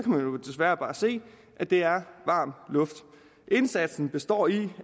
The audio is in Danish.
man jo desværre bare se at det er varm luft indsatsen består i